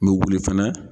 N bɛ wuli fɛnɛ